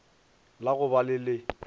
la go ba le le